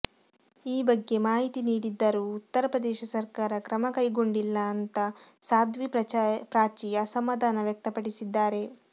ಈ ಬಗ್ಗೆ ಮಾಹಿತಿ ನೀಡಿದ್ದರೂ ಉತ್ತರ ಪ್ರದೇಶ ಸರ್ಕಾರ ಕ್ರಮ ಕೈಗೊಂಡಿಲ್ಲ ಅಂತಾ ಸಾಧ್ವಿ ಪ್ರಾಚಿ ಅಸಮಾಧಾನ ವ್ಯಕ್ತಪಡಿಸಿದ್ದಾರೆ